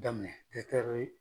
Daminɛ